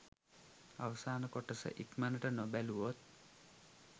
අවසාන කොටස ඉක්මනට නොබැලුවොත්